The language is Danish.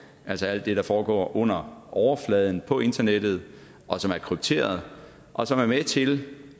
altså alt det der foregår under overfladen på internettet og som er krypteret og som er med til